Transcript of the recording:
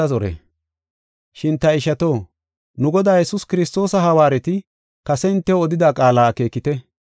Shin ta ishato, nu Godaa Yesuus Kiristoosa hawaareti kase hintew odida qaala akeekite.